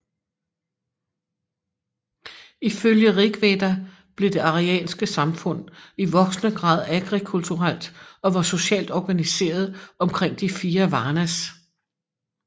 Ifølge Rigveda blev det arianske samfund i voksende grad agrikulturelt og var socialt organiseret omkring de fire Varnas